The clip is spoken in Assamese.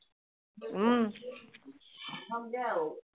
উম